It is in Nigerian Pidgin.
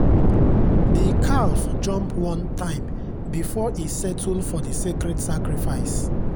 the calf jump one time before e settle for the sacred sacrifice.